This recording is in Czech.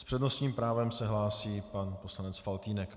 S přednostním právem se hlásí pan poslanec Faltýnek.